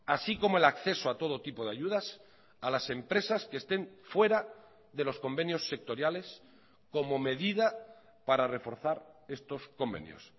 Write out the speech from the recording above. así como el acceso a todo tipo de ayudas a las empresas que estén fuera de los convenios sectoriales como medida para reforzar estos convenios